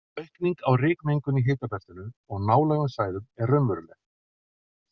Aukning á rykmengun í hitabeltinu og nálægum svæðum er raunveruleg.